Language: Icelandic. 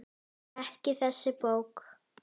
Ekki þessi bók.